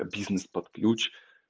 бизнес под ключ